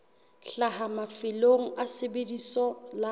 hlaha mafelong a lebitso la